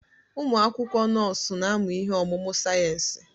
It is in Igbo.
Ụmụ akwụkwọ nọọsụ na-amụ ihe ọmụmụ sayensị.